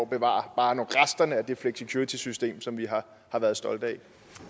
bevare bare resterne af det flexicuritysystem som vi har været stolte